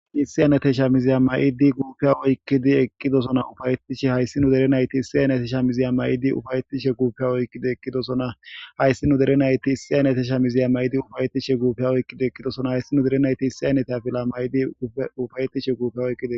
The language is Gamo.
isiyanate sha miziya mayidi guuppeya oykkidi eqqidosona ufayettishe hayssi nu derenayti issiyanatisha miziya mayidi ufayetishe guuppea oykido ekkidosona hayssi nu dere nayti issiyan ate sha miziya may7idi ufayetishe guupey oykkido ekkidosona hayssi nu derenayti issiyanete fila may7idi ufayetishe gupe oyide